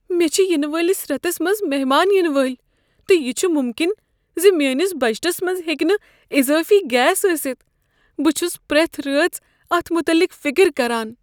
مےٚ چھ ینہٕ وٲلس ریتس منٛز مہمان ینہٕ وٲلۍ، تہٕ یہ چھ ممکن زِ میٲنس بجٹس منٛز ہیکِہ نہٕ اضٲفی گیس ٲستھ۔ بہٕ چھس پرٛتھ رٲژ اتھ متعلق فکر کران۔